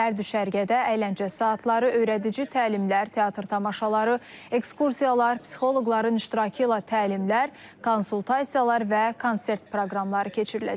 Hər düşərgədə əyləncə saatları, öyrədici təlimlər, teatr tamaşaları, ekskursiyalar, psixoloqların iştirakı ilə təlimlər, konsultasiyalar və konsert proqramları keçiriləcək.